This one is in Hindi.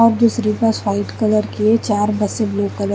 और दूसरी बस वाइट कलर की है चार बसे ब्लू कलर --